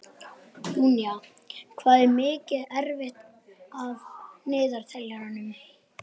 Júnía, hvað er mikið eftir af niðurteljaranum?